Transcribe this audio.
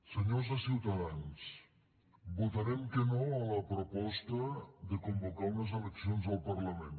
senyors de ciutadans votarem que no a la proposta de convocar unes eleccions al parlament